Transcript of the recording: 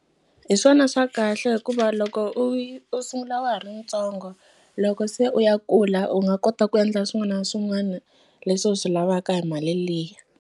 Hi swona swa kahle hikuva loko u yi u sungula wa ha ri ntsongo loko se u ya kula u nga kota ku endla swin'wana na swin'wana leswi u swi lavaka hi mali liya.